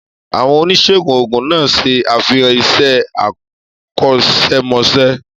Àwọn oníṣègùn òògùn náà ṣe àfihàn iṣẹ́ akọ́ṣẹ́mọṣẹ́.